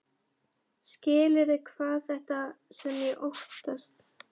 Skilurðu hvað það er sem ég óttast?